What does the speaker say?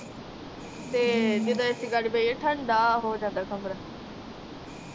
ਤੇ ਜਦੋ AC ਲਾ ਕੇ ਬਹਿ ਜੇਇ ਠੰਡਾ ਹੋ ਜਾਂਦਾ ਕਮਰਾ